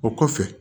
O kɔfɛ